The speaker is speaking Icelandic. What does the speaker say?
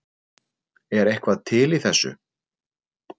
Er eitthvað til í þessu